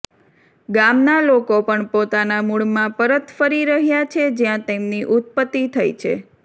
ગામના લોકો પણ પોતાના મૂળમાં પરત ફરી રહ્યા છે જ્યાં તેમની ઉત્પત્તિ થઈ છે